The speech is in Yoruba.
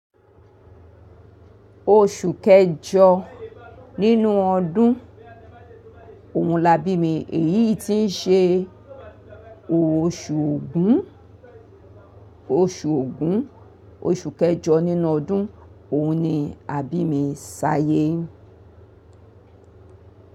Oṣù kẹjọ nínú ọdún òun la bí mi. Èyí tí ń ṣe oṣù ògún, oṣù ògún, oṣù kẹjọ nínú ọdún òun ni àbí mi ṣáyé.